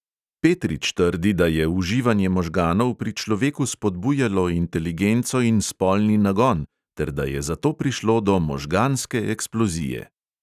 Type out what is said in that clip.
Petrič trdi, da je uživanje možganov pri človeku spodbujalo inteligenco in spolni nagon ter da je zato prišlo do možganske eksplozije.